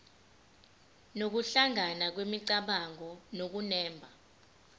nokuhlangana kwemicabango nokunemba